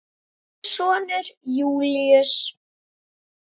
Þinn sonur Júlíus.